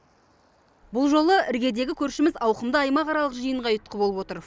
бұл жолы іргедегі көршіміз ауқымды аймақаралық жиынға ұйытқы болып отыр